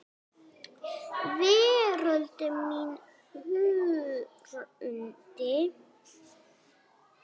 Veröld mín hrundi.